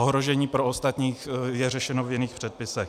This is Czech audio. Ohrožení pro ostatní je řešeno v jiných předpisech.